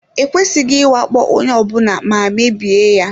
E kwesịghị ịwakpo onye ọ bụla ma mebie ya.